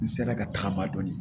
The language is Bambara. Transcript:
N sera ka tagaba dɔn